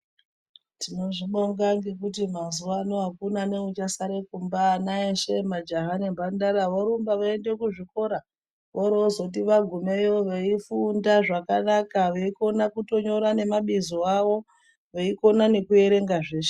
Tinozvibonga ngekuti mazuva ano hakuna neuchasare kumba ana eshe majaha nemhandara vorumba veende kuzvikora, oro vozoti vagumeyo veifunda zvakanaka veikona kutonyora nemabizo avo veikona nekuwerenga zveshe.